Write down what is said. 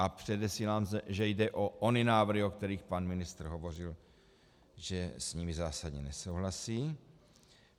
A předesílám, že jde o ony návrhy, o kterých pan ministr hovořil, že s nimi zásadně nesouhlasí.